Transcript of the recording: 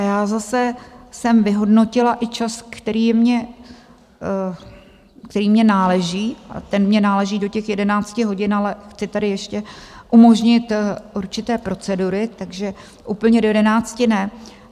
A já zase jsem vyhodnotila i čas, který je mně.. který mně náleží, a ten mně náleží do těch 11 hodin, ale chci tady ještě umožnit určité procedury, takže úplně do 11 ne.